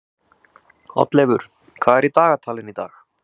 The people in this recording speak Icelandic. Oddleifur, hvað er í dagatalinu í dag?